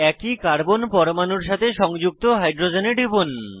একই কার্বন পরমাণুর সাথে সংযুক্ত হাইড্রোজেনে টিপুন